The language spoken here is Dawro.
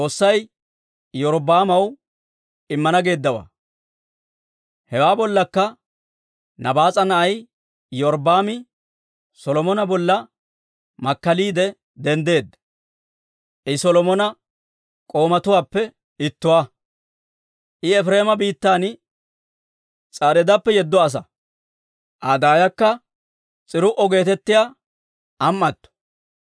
Hewaa bollakka Nabaas'a na'ay Iyorbbaami Solomona bolla makkaliide denddeedda; I Solomona k'oomatuwaappe ittuwaa. I Efireema biittan S'areedappe yedda asa; Aa daayakka S'iruu'o geetettiyaa am"atto.